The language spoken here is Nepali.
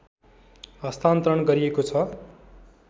हस्तान्तरण गरिएको छ